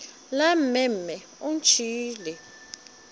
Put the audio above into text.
la mme mme o ntšhiile